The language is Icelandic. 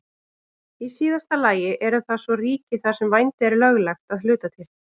Í síðasta lagi eru það svo ríki þar sem vændi er löglegt að hluta til.